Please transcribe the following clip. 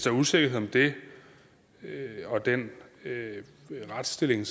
er usikkerhed om det og den retsstilling